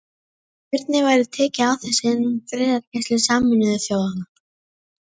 Hvernig væri tekið á þessu innan friðargæslu Sameinuðu þjóðanna?